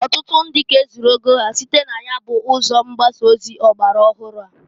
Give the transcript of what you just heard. Ọtụtụ ndị ka e zugoro ego ha site na ya ụzọ mgbasa ozi ọgbara ọhụrụ a.